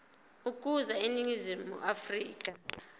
ukuza eningizimu afrika